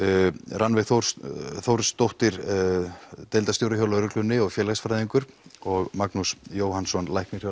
Rannveig Þórsdóttir deildarstjóri hjá lögreglunni og félagsfræðingur og Magnús Jóhannsson læknir hjá